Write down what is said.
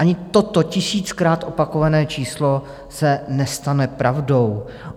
Ani toto tisíckrát opakované číslo se nestane pravdou.